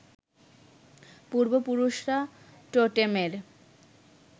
পূর্বপুরুষরা টোটেমের